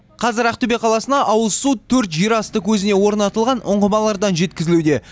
қазір ақтөбе қаласына ауызсу төрт жерасты көзіне орнатылған ұңғымалардан жеткізілуде